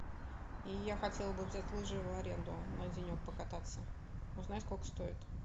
я хотела бы взять лыжи в аренду на денек покататься узнай сколько стоит